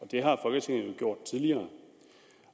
det har folketinget jo gjort tidligere